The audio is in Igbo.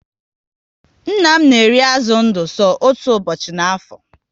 Nna m na eri azụ ndụ so otú ụbọchị ná afo